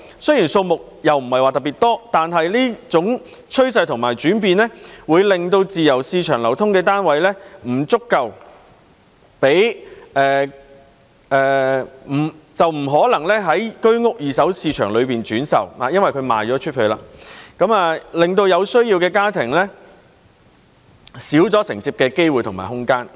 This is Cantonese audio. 雖然數目不是特別多，但這種趨勢和轉變會令在自由市場流通的單位不可能在居屋二手市場中轉售，因為已經售出，因而減少了有需要的家庭承接的機會和空間。